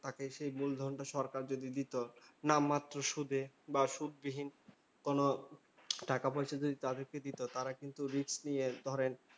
তাকে সেই মূলধনটা সরকার যদি দিতো, নামমাত্র সুদে বা সুদবিহীন কোনো টাকা পয়সা যদি দিতো। তারা কিন্তু risk নিয়ে ধরেন,